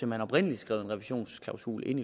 man oprindelig skrev en revisionsklausul ind